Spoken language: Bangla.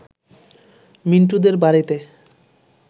মিন্টুদের বাড়িতে